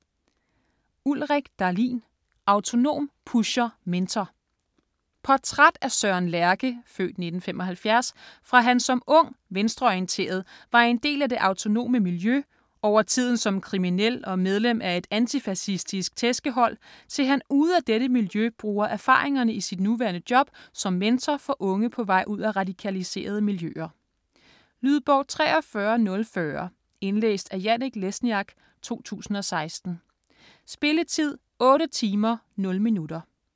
Dahlin, Ulrik: Autonom, pusher, mentor Portræt af Søren Lerche (f. 1975) fra han som ung, venstreorienteret var en del af det autonome miljø, over tiden som kriminel og medlem af et antifacistisk tæskehold, til han ude af dette miljø bruger erfaringerne i sit nuværende job som mentor for unge på vej ud af radikaliserede miljøer. Lydbog 43040 Indlæst af Janek Lesniak, 2016. Spilletid: 8 timer, 0 minutter.